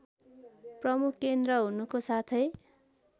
प्रमुख केन्द्र हुनुको साथै